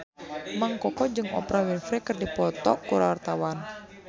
Mang Koko jeung Oprah Winfrey keur dipoto ku wartawan